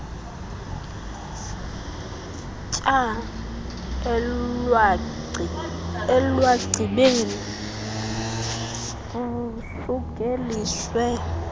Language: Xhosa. tyaa elwagcibeni kusukeliswe